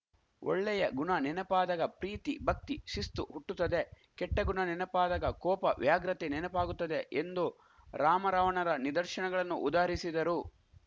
ಒಳ್ಳೆಯ ಗುಣ ನೆನಪಾದಾಗ ಪ್ರೀತಿ ಭಕ್ತಿ ಶಿಸ್ತು ಹುಟ್ಟುತ್ತದೆ ಕೆಟ್ಟಗುಣ ನೆನಪಾದಾಗ ಕೋಪ ವ್ಯಾಘ್ರತೆ ನೆನಪಾಗುತ್ತದೆ ಎಂದು ರಾಮ ರಾವಣರ ನಿದರ್ಶನಗಳನ್ನು ಉದಹರಿಸಿದರು